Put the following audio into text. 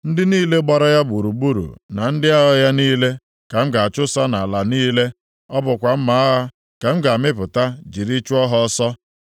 Ndị niile gbara ya gburugburu na ndị agha ya niile ka m ga-achụsa nʼala niile, ọ bụkwa mma agha ka m ga-amịpụta jiri chụọ ha ọsọ.